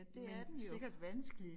Men sikkert vanskelig